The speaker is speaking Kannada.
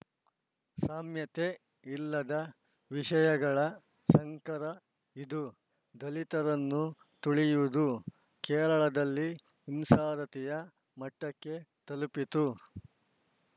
ಸಾಮ್ಯತೆ ಇಲ್ಲದ ವಿಷಯಗಳ ಸಂಕರ ಇದು ದಲಿತರನ್ನು ತುಳಿಯುವುದು ಕೇರಳದಲ್ಲಿ ಹಿಂಸಾರತಿಯ ಮಟ್ಟಕ್ಕೆ ತಲುಪಿತ್ತು